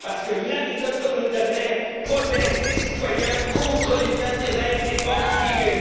Parce que la méthode communautaire protège les citoyens contre les intérêts des banques privées.